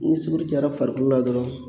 Ni sukoro cayara farikolo la dɔrɔn